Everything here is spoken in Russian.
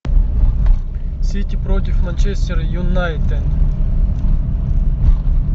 сити против манчестер юнайтед